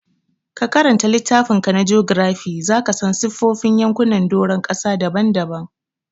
Ka karanta littafinka na jogirafi, za ka san siffofin yankunan doron ƙasa daban-daban.